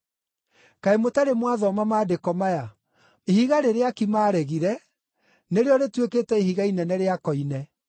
Kaĩ mũtarĩ mwathoma maandĩko maya: “ ‘Ihiga rĩrĩa aaki maaregire, nĩrĩo rĩtuĩkĩte ihiga inene rĩa koine;